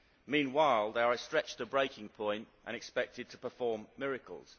Meanwhile, they are stretched to breaking point and expected to perform miracles.